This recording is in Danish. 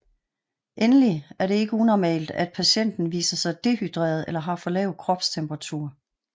Endelig er det ikke unormalt at patienten viser sig dehydreret eller har for lav kropstemperatur